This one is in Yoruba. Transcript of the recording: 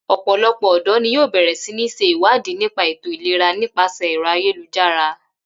Ò̩pò̩lo̩pò̩ ò̩dò̩ ni yóò bè̩rè̩ sí ní s̩e ìwádìí nípa ètò-ìlera nípàse̩ è̩ro̩ ayélujára